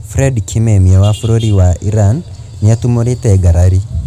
Fred Kimemia wa bũrũri wa Iran nĩ atumũrĩte ngarari